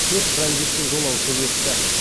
төрт транзиттік жолаушы өтті